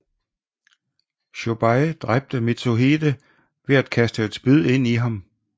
Chōbei dræbte Mitsuhide ved at kaste et spyd ind i ham